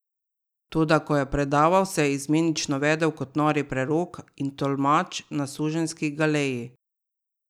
Toda ko je predaval, se je izmenično vedel kot nori prerok in tolkač na suženjski galeji.